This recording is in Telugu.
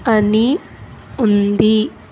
అని ఉంది.